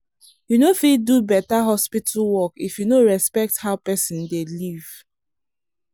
you no fit do better hospital work if you no respect how person dey live.